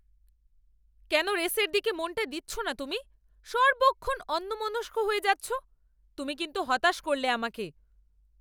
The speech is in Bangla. কেন রেসের দিকে মনটা দিচ্ছ না তুমি? সর্বক্ষণ অন্যমনস্ক হয়ে যাচ্ছ। তুমি কিন্তু হতাশ করলে আমাকে।